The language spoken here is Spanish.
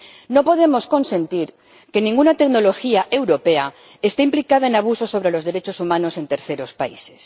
No podemos consentir que ninguna tecnología europea esté implicada en abusos sobre los derechos humanos en terceros países.